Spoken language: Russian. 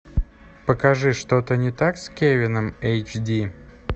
покажи что то не так с кевином эйч ди